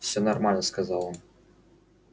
всё нормально сказал он